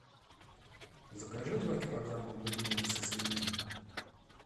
закажи два килограмма бульменей со свининой